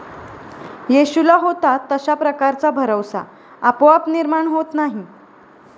येशूला होता तशा प्रकारचा भरवसा आपोआप निर्माण होत नाही.